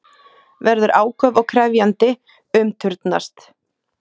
Verður áköf og krefjandi, umturnast.